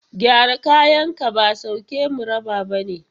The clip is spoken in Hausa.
Gyara kayanka ba sauke mu raba ba ne.